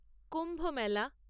কুম্ভ মেলা